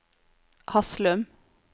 Haslum